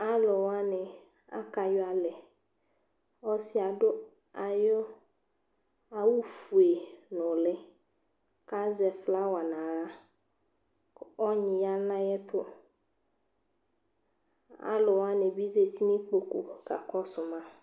Alʋ wanɩ akayɔ alɛ kʋ ɔsɩ yɛ adʋ ayʋ awʋfue nʋ ɔwɛ yɛ kʋ azɛ flawa nʋ aɣla kʋ ɔnyɩ ya nʋ ayɛtʋ Alʋ wanɩ bɩ zati nʋ ikpoku kakɔsʋ ma